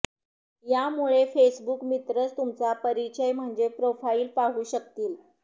यामुळे फेसबुक मित्रच तुमचा परिचय म्हणजे प्रोफाईल पाहू शकतील